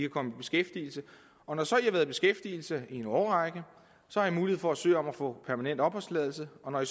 komme i beskæftigelse og når i så har været i beskæftigelse i en årrække har i mulighed for at søge om at få permanent opholdstilladelse og når i